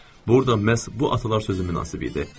Burda məhz bu atalar sözü münasib idi: